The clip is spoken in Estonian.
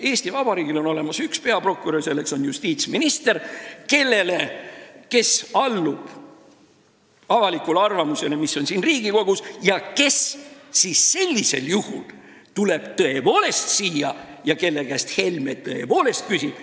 Eesti Vabariigil on olemas üks peaprokurör: selleks on justiitsminister, kes allub avalikule arvamusele, mida esindab ka Riigikogu, ja kes sellisel juhul tuleb tõepoolest siia ja Helme saab tema käest küsida.